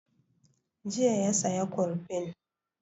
Jiya ya saya kurfin